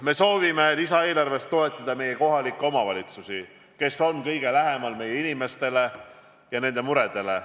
Me soovime lisaeelarvest toetada kohalikke omavalitsusi, kes on kõige lähemal meie inimestele ja nende muredele.